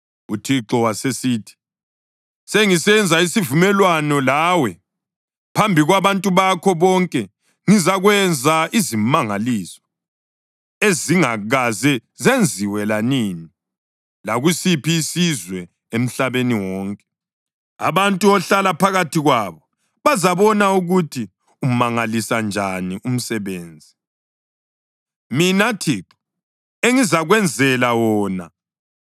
UThixo wasesithi, “Sengisenza isivumelwano lawe. Phambi kwabantu bakho bonke ngizakwenza izimangaliso ezingakaze zenziwe lanini lakusiphi isizwe emhlabeni wonke. Abantu ohlala phakathi kwabo bazabona ukuthi umangalisa njani umsebenzi, mina Thixo, engizakwenzela wona.